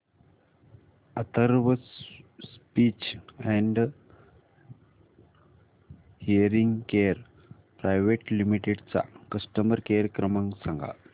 Atharva speech and hearing care private limited चा customer care क्रमांक सांगा